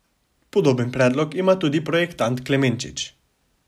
Podoben predlog ima tudi projektant Klemenčič.